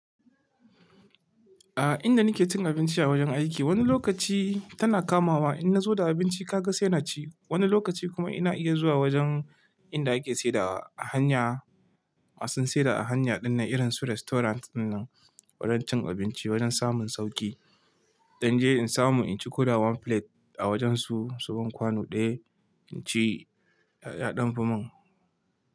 A inda nake cin abinci a wajen aiki, wani lokaci tana kamawa in na zo da abinci ka ga sai na ci. Wani lokaci kuma ina iya zuwa wajen inda ake saida a hanya, masu saida a hanya dinnan irin su restaurant dinnan wurin cin abinci wajen samun sauƙi. Dan je in samu in ci ko da one plate a wajen su suban kwano ɗaya inci ya ɗanfi mun.